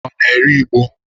Ọ na-ere igbo?